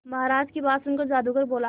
महाराज की बात सुनकर जादूगर बोला